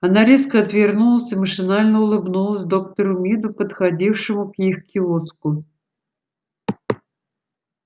она резко отвернулась и машинально улыбнулась доктору миду подходившему к их киоску